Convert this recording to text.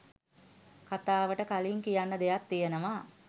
කතාවට කලින් කියන්න දෙයක් තියෙනවා.